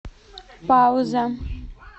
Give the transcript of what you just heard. пауза